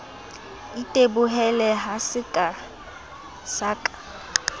itebohela ha ke sa ka